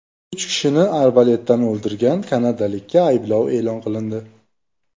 Uch kishini arbaletdan o‘ldirgan kanadalikka ayblov e’lon qilindi.